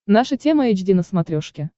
наша тема эйч ди на смотрешке